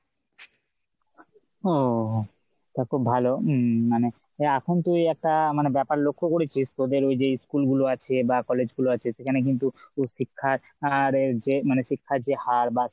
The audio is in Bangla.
ও তা খুব ভালো উম মানে এখন তুই একটা মানে ব্যাপার লক্ষ করেছিস, তোদের এই যে school গুলো আছে বা college গুলো আছে সেখানে কিন্তু তো শিক্ষার আর যে মানে শিক্ষার যে হার বা